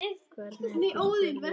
Hvernig ertu spurði ég.